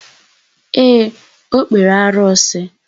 Ee, o kpere arụsị.